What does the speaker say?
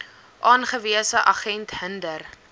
aangewese agent hinder